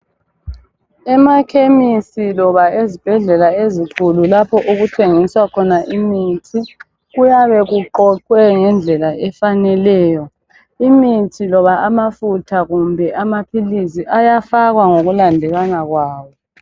Emakhemisi loba ezibhedlela lapho okuthengiswa khona imithi kuyabe kuqoqwe ngendlela efaneleyo. Imithi loba amafutha kumbe amaphilisi kuyafakwa ngokulandelana kwawo.